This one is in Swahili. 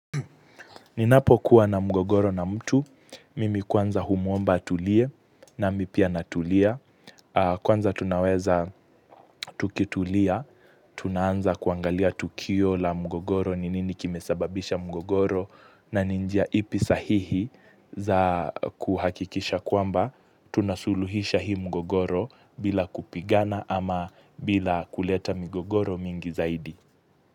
Ninapo kuwa na mgogoro na mtu, mimi kwanza humuomba atulie nami pia na tulia. Kwanza tunaweza tukitulia, tunaanza kuangalia tukio la mgogoro, ninini kimesababisha mgogoro na ni njia ipi sahihi za kuhakikisha kwamba, tunasuluhisha hii mgogoro bila kupigana ama bila kuleta mgogoro mingi zaidi.